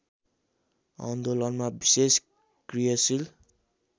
आन्दोलनमा विशेष क्रियाशील